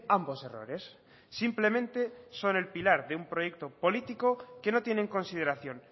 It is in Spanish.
ambos errores simplemente son el pilar de un proyecto político que no tiene en consideración